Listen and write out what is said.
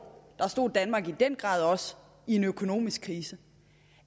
stod danmark i den grad også i en økonomisk krise